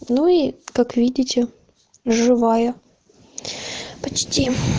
ну и как видите живая почти